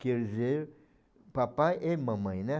Quer dizer, papai e mamãe, né?